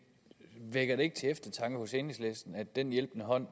vækker det ikke til eftertanke hos enhedslisten at den hjælpende hånd